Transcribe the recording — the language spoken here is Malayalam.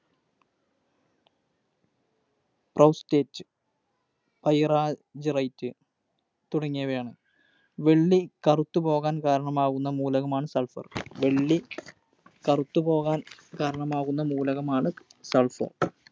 Proustitite, Pyrargyrite തുടങ്ങിയവയാണ്. വെള്ളി കറുത്തു പോകാൻ കാരണമാവുന്ന മൂലകമാണ് Sulphur. വെള്ളി കറുത്തു പോകാൻ കാരണമാവുന്ന മൂലകമാണ് Sulphur.